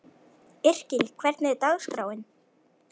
Yrkill, hvernig er dagskráin?